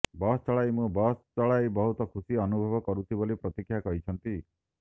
ବସ ଚଳାଇ ମୁଁ ବସ ଚଳାଇ ବହୁତ ଖୁସି ଅନୁଭବ କରୁଛି ବୋଲି ପ୍ରତୀକ୍ଷା କହିଛନ୍ତି